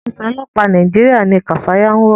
Aṣọ ọlọpa Nàìjíríà ní kafaya ń wọ.